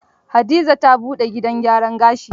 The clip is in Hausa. Hadiza ta buɗe gidan gyaran gashi.